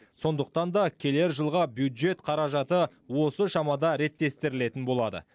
сондықтан да келер жылға бюджет қаражаты осы шамада реттестірілетін болады